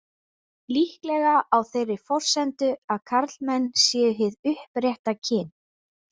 Líklega á þeirri forsendu að karlmenn séu hið upprétta kyn.